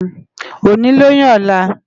Óni lóyún òlá